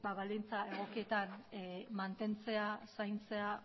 baldintza egokietan mantentzea zaintzea